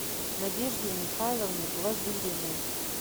надежде михайловне глазыриной